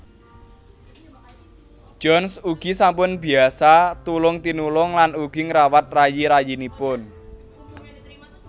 Johns ugi sampun biasa tulung tinulung lan ugi ngrawat rayi rayinipun